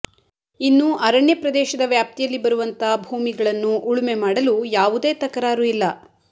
ಇನ್ನು ಅರಣ್ಯ ಪ್ರದೇಶದ ವ್ಯಾಪ್ತಿಯಲ್ಲಿ ಬರುವಂತ ಭೂಮಿಗಳನ್ನು ಉಳುಮೆಮಾಡಲು ಯಾವುದೇ ತಕರಾರು ಇಲ್ಲ